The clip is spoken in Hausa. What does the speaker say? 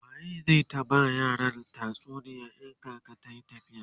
waye zai ta ba yaran tatsuniya in kaka tayi tafiya?